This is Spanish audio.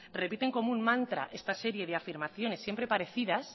repiten como un mantra esta serie de afirmaciones siempre parecidas